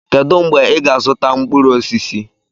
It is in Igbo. kedu mgbe ị ga-azụta mkpụrụ osisi?